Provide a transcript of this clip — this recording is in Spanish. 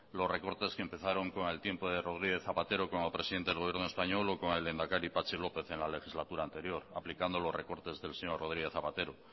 los recortes que empezaron con el tiempo de rodríguez zapatero como presidente del gobierno español o con el lehenedakari patxi lópez en la legislatura anterior aplicando los recortes del señor rodríguez zapatero